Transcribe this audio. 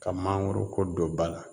Ka mangoro ko don ba la